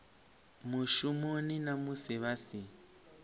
mushumoni na musi vha si